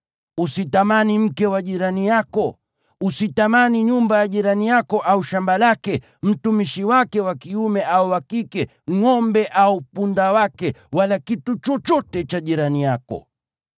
Usitamani mke wa jirani yako. Usitamani nyumba ya jirani yako au shamba lake, mtumishi wake wa kiume au wa kike, ngʼombe au punda wake, wala kitu chochote cha jirani yako.”